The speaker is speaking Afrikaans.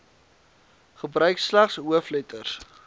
gebruik slegs hoofletters